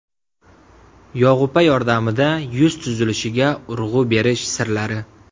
Yog‘upa yordamida yuz tuzilishiga urg‘u berish sirlari.